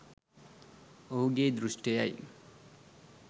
ඔහුගේ දෘශ්ඨියයි.